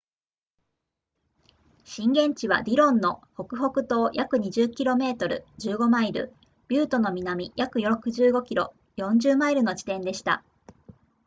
震源地はディロンの北北東約20 km15 マイルビュートの南約65 km40 マイルの地点でした